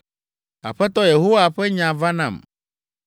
Aƒetɔ Yehowa ƒe nya va nam,